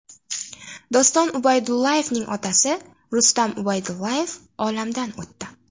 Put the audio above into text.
Doston Ubaydullayevning otasi Rustam Ubaydullayev olamdan o‘tdi.